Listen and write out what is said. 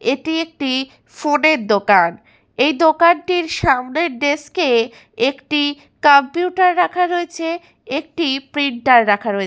এটি একটি ফোনের দোকান । এই দোকানটির সামনের ডেস্কে একটি কম্পিউটার রাখা রয়েছে একটি প্রিন্টার রাখা রয়ে--।